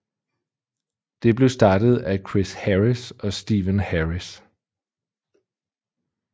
Det blev startet af Chris Harris og Stephen Harris